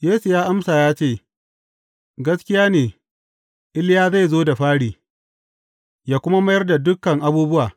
Yesu ya amsa ya ce, Gaskiya ne, Iliya zai zo da fari, yă kuma mayar da dukan abubuwa.